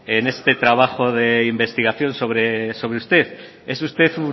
en este trabajo de investigación sobre usted es usted